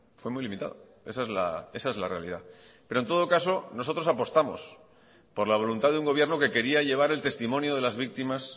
fue muy limitado esa es la realidad pero en todo caso nosotros apostamos por la voluntad de un gobierno que quería llevar el testimonio de las víctimas